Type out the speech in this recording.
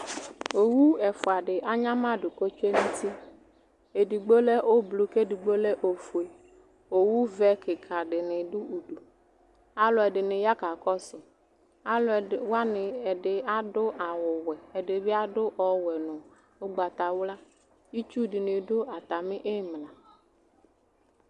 Owu ɛfuadi anyamadu ku otsue nu uti edigbo lɛ ublu edigbo lɛ ofue owu vɛ kika dini du aluɛdini ya kakɔsu Aluɛdini adu awu ɔwɛ ɛdinibi adu ɔwɛ nu ugbatawla itsu dinibi du atamili imla